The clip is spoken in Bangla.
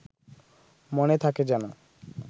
মনে থাকে যেন